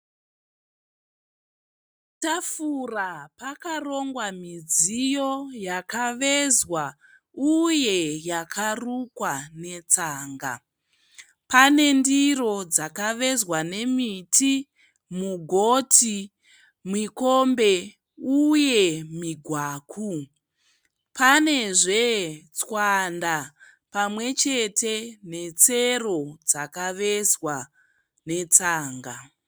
Tafura pakarongwa midziyo yakavezwa uye yakarukwa netsanga. Pane ndiro dzakavezwa nemiti, mugoti, mikombe uye migwaku. Panezve tswanda pamwe chete netsero dzakavezwa netsanga.